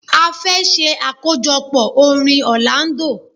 A fẹ́ ṣe àkójọpọ̀ orin Orlando.